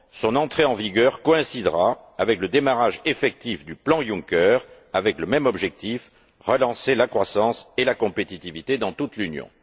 Son entrée en vigueur coïncidera avec le démarrage effectif du plan Juncker et aura le même objectif relancer la croissance et la compétitivité dans toute l'Union.